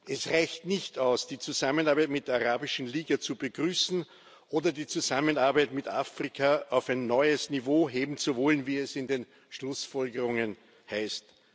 Es reicht nicht aus, die Zusammenarbeit mit der Arabischen Liga zu begrüßen oder die Zusammenarbeit mit Afrika auf ein neues Niveau heben zu wollen, wie es in den Schlussfolgerungen heißt.